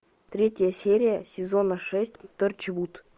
третья серия сезона шесть торчвуд